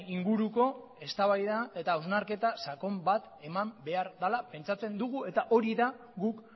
inguruko eztabaida eta hausnarketa sakon bat eman behar dela pentsatzen dugu eta hori da guk